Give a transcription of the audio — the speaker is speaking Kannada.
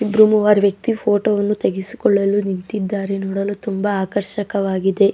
ಇಬ್ಬರು ಮೂವರು ವ್ಯಕ್ತಿ ಫೋಟೋ ವನ್ನು ತೆಗೆಸಿಕೊಳ್ಳಲು ನಿಂತಿದ್ದಾರೆ ನೋಡಲು ತುಂಬಾ ಆಕರ್ಷಕವಾಗಿದೆ.